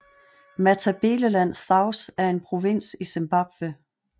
Matabeleland South er en provins i Zimbabwe